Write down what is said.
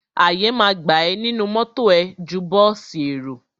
Àyè ma gbà ẹ nínú mọ́tọ̀ ẹ ju bọ́ọ̀sì èrò.